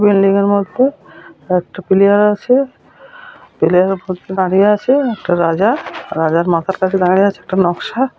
বিল্ডিংয়ের মত। একটা প্লেয়ার আছে প্লেয়ার -এর ওপর দিয়ে দাঁড়িয়ে আছে একটা রাজা-আ। রাজার মাথার কাছে দাঁড়িয়ে আছে একটা নকশা।